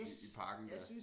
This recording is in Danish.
I i parken dér